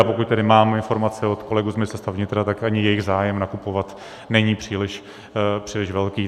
A pokud tedy mám informace od kolegů z Ministerstva vnitra, tak ani jejich zájem nakupovat není příliš velký.